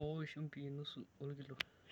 Mpimokoki shumbi nusu olkilo.